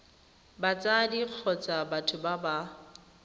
batsadi kgotsa batho ba ba